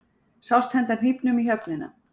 Sást henda hnífnum í höfnina